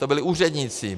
To byli úředníci.